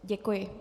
Děkuji.